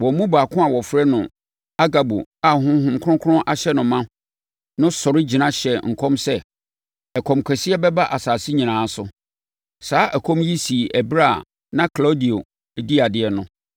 Wɔn mu baako a wɔfrɛ no Agabo a Honhom Kronkron ahyɛ no ma no sɔre gyina hyɛɛ nkɔm sɛ, ɛkɔm kɛseɛ bɛba asase nyinaa so. Saa ɛkɔm yi sii ɛberɛ a na Klaudio di adeɛ no.